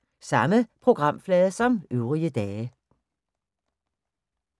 Samme programflade som øvrige dage